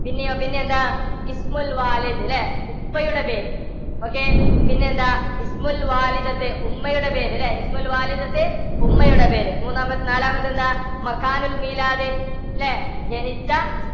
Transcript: പിന്നെയോ പിന്നെ എന്താ ഇല്ലേ? ഉപ്പയുടെ പേര്. okay പിന്നെ എന്താ ഉമ്മയുടെ പേര് അല്ലേ ഉമ്മയുടെ പേര്. മൂന്നാമത്തെ, നാലാമത്തെ എന്താ അല്ലേ? ജനിച്ച